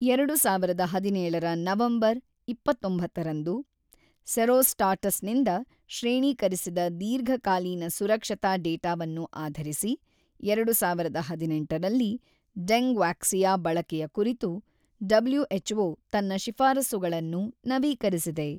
ಎರಡು ಸಾವಿರದ ಹದಿನೇಳರ ನವೆಂಬರ್ ಇಪ್ಪತ್ತೊಂಬತ್ತರಂದು ಸೆರೊಸ್ಟಾಟಸ್‌ನಿಂದ ಶ್ರೇಣೀಕರಿಸಿದ ದೀರ್ಘಕಾಲೀನ ಸುರಕ್ಷತಾ ಡೇಟಾವನ್ನು ಆಧರಿಸಿ, ಎರಡು ಸಾವಿರದ ಹದಿನೆಂಟರಲ್ಲಿ ಡೆಂಗ್‌ವಾಕ್ಸಿಯಾ ಬಳಕೆಯ ಕುರಿತು ಡಬ್ಲುಎಚ್‌ಓ ತನ್ನ ಶಿಫಾರಸ್ಸುಗಳನ್ನು ನವೀಕರಿಸಿದೆ.